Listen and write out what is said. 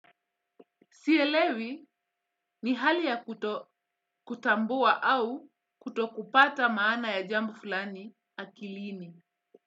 Sielewi ni hali ya kutambua au kutokupata maana ya jambo fulani akilini.